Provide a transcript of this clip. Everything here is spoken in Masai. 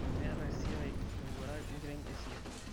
meeta esia mowuarak enkiteng esia